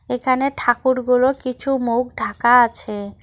এখানে ঠাকুরগুলোর কিছু মুখ ঢাকা আছে।